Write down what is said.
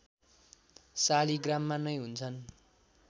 शालिग्राममा नै हुन्छन्